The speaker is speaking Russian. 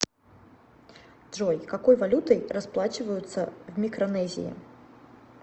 джой какой валютой расплачиваются в микронезии